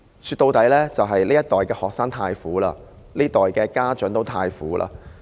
說到底，這一代的學生太苦，這一代的家長也太苦。